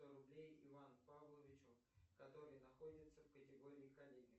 сто рублей иван павловичу который находится в категории коллеги